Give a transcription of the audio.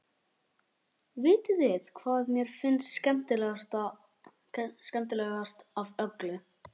Vitiði hvað mér finnst skemmtilegast af öllu?